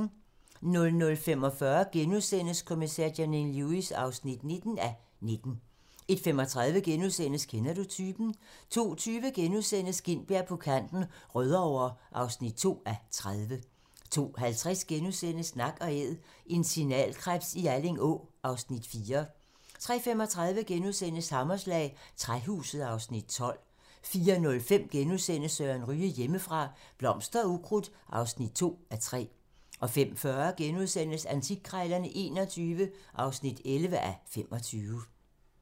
00:45: Kommissær Janine Lewis (19:19)* 01:35: Kender du typen? * 02:20: Gintberg på kanten - Rødovre (2:30)* 02:50: Nak & æd - en signalkrebs i Alling Å (Afs. 4)* 03:35: Hammerslag - Træhuset (Afs. 12)* 04:05: Søren Ryge: Hjemmefra - Blomster og ukrudt (2:3)* 05:40: Antikkrejlerne XXI (11:25)*